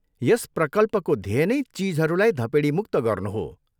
यस प्रकल्पको ध्येय नै चिजहरूलाई धपेडीमुक्त गर्नु हो।